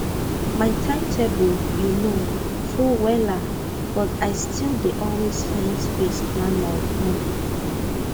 my time table you know full wella but i still dey always find space plan my time